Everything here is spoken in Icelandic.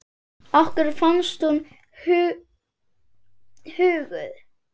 Okkur fannst hún huguð.